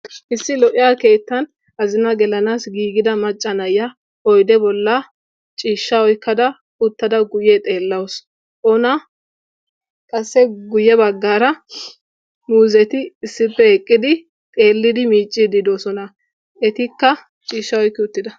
issi lo"iyaa keettan azinaa gelanaassi giigida macca na'iyaa oyde bolla uttada ciishshaa oyqqada uttada guyye xeelawus; qassi guyye baggara muzeti issippe eqqidi xeelidi miiccidi doosona; etikka ciishsha oyqqid uttida.